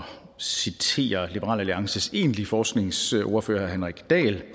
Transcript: citere liberal alliances egentlige forskningsordfører herre henrik dahl jeg